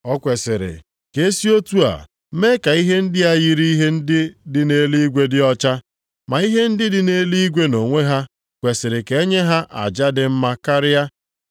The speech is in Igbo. O kwesiri ka e si otu a mee ka ihe ndị a yiri ihe ndị dị nʼeluigwe dị ọcha, ma ihe ndị dị nʼeluigwe nʼonwe ha kwesiri ka e nye ha aja dị mma karịa.